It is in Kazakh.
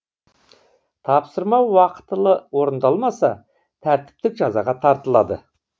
тапсырма уақытылы орындалмаса тәртіптік жазаға тартылады